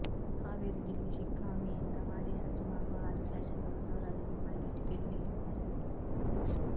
ಹಾವೇರಿ ಜಿಲ್ಲೆ ಶಿಗ್ಗಾಂವಿಯಿಂದ ಮಾಜಿ ಸಚಿವ ಹಾಗೂ ಹಾಲಿ ಶಾಸಕ ಬಸವರಾಜು ಬೊಮ್ಮಾಯಿಗೆ ಟಿಕೆಟ್ ನೀಡಿದ್ದಾರೆ